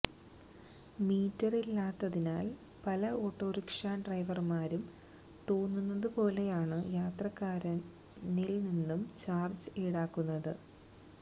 മീറ്ററില്ലാത്തതിനാല് പല ഓട്ടോറിക്ഷാ ഡ്രൈവര്മാരും തോന്നുന്നതുപോലെയാണ് യാത്രക്കാരനില് നിന്നും ചാര്ജ്ജ് ഈടാക്കുന്നത്